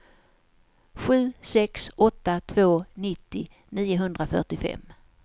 sju sex åtta två nittio niohundrafyrtiofem